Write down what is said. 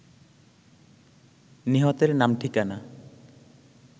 নিহতের নাম ঠিকানা